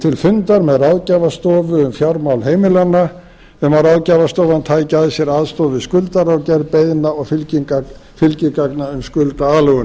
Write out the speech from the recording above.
til fundar með ráðgjafarstofu um fjármál heimilanna um að ráðgjafarstofan tæki að sér aðstoð við skuldara og gerð beiðni og fylgigagna um skuldaaðlögun